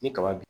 Ni kaba